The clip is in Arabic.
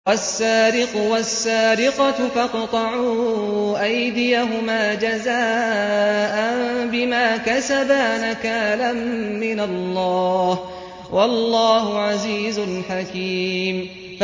وَالسَّارِقُ وَالسَّارِقَةُ فَاقْطَعُوا أَيْدِيَهُمَا جَزَاءً بِمَا كَسَبَا نَكَالًا مِّنَ اللَّهِ ۗ وَاللَّهُ عَزِيزٌ حَكِيمٌ